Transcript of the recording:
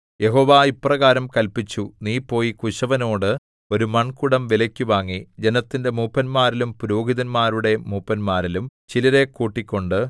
യഹോവ ഇപ്രകാരം കല്പിച്ചു നീ പോയി കുശവനോട് ഒരു മൺകുടം വിലയ്ക്കു വാങ്ങി ജനത്തിന്റെ മൂപ്പന്മാരിലും പുരോഹിതന്മാരുടെ മൂപ്പന്മാരിലും ചിലരെ കൂട്ടിക്കൊണ്ട്